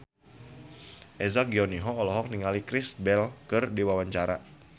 Eza Gionino olohok ningali Kristen Bell keur diwawancara